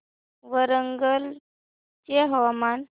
वरंगल चे हवामान